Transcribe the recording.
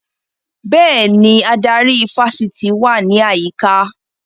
Bẹ́ẹ̀ni, adarí ifásitì wà ní àyíká